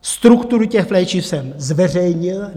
Struktury těch léčiv jsem zveřejnil.